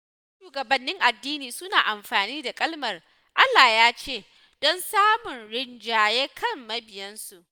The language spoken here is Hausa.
Wasu shugabannin addini suna amfani da kalmar "Allah ya ce" don samun rinjaye kan mabiyansu.